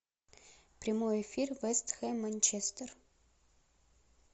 прямой эфир вест хэм манчестер